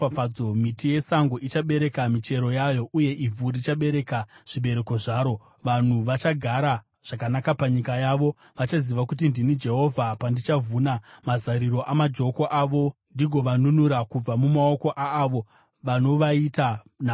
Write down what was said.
Miti yesango ichabereka michero yayo uye ivhu richabereka zvibereko zvaro; vanhu vachagara zvakanaka panyika yavo. Vachaziva kuti ndini Jehovha, pandichavhuna mazariro amajoko avo ndigovanunura kubva mumaoko aavo vanovaita nhapwa.